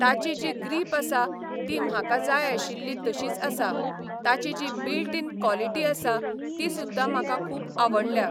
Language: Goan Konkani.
ताची जी ग्रीप आसा ती म्हाका जाय आशिल्ली तशीच आसा, ताची जी बिल्ट इन कॉलिटी आसा ती सुद्दां म्हाका खूब आवडल्या.